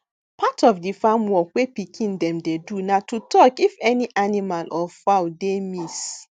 part of di farm work wey pikin dem dey do na to talk if any animal or fowl dey miss